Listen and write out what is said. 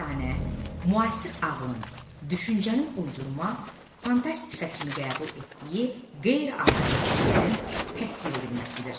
Əfsanə, müasir ağlın, düşüncənin uydurma, fantastika kimi qəbul etdiyi qeyri-adi hadisələrin təsvir edilməsidir.